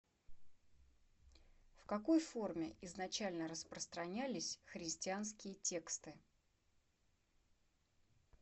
в какой форме изначально распространялись христианские тексты